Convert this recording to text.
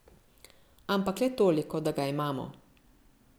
Ampak le toliko, da ga imamo.